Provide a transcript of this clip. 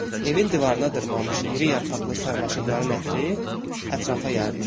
Evin divarına dırmanmış iri yarpaqlı sarmaşıqların ətri ətrafa yayılmışdı.